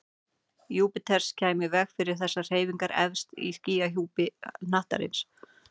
Júpíters kæmi í veg fyrir þessar hreyfingar efst í skýjahjúpi hnattarins.